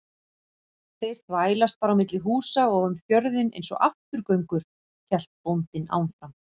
Þeir þvælast bara á milli húsa og um fjörðinn einsog afturgöngur, hélt bóndinn áfram.